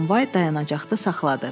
Tramvay dayanacaqda saxladı.